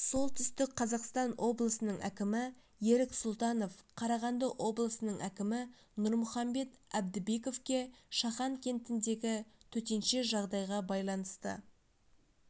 солтүстік қазақстан облысының әкімі ерік сұлтанов қарағанды облысының әкімі нұрмұхамбет әбдібековке шахан кентіндегі төтенше жағдайға байланысты